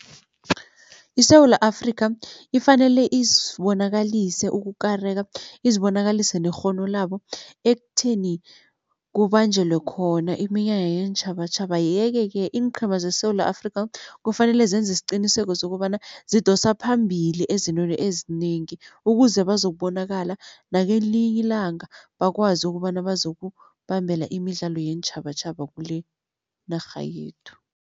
ISewula Afrika ifanele izibonakalise ukukareka izibonakalise nekghono labo, ekutheni kubanjelwe khona iminyanya yeentjhabatjhaba yeke-ke iinqhema zeSewula Afrika kufanele zenze isiqiniseko sokobana zidosa phambili ezintweni ezinengi ukuze bazokubonakala nakelinye ilanga bakwazi ukobana bazokubambela imidlalo yeentjhabatjhaba kulenarha yethu.